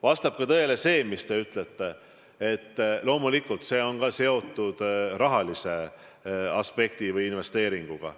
Vastab ka tõele, mis te ütlete, et loomulikult see on ka seotud rahalise aspekti ehk investeeringuga.